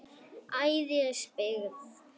Ægisbyggð